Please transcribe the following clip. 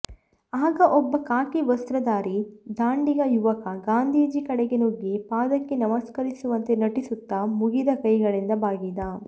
ಆಗ ಒಬ್ಬ ಖಾಕಿ ವಸ್ತ್ರಧಾರಿ ಧಾಂಡಿಗ ಯುವಕ ಗಾಂಧೀಜಿ ಕಡೆಗೆ ನುಗ್ಗಿ ಪಾದಕ್ಕೆ ನಮಸ್ಕರಿಸುವಂತೆ ನಟಿಸುತ್ತ ಮುಗಿದ ಕೈಗಳಿಂದ ಬಾಗಿದ